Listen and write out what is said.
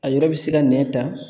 A yɔrɔ bɛ se ka nɛn ta